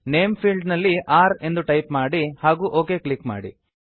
name field ನಲ್ಲಿ r ಎಂದು type ಮಾಡಿ ಹಾಗೂ ಒಕ್ ಕ್ಲಿಕ್ ಮಾಡಿ